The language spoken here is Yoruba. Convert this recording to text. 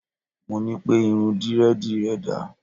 Mo ní pẹ́: irun Dírẹ́dìì rẹ dà?